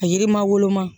A yirima woloma